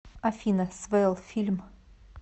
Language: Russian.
афина свэлл фильм